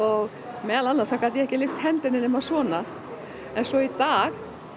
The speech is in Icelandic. meðal annars gat ég ekki lyft hendinni nema svona svo í dag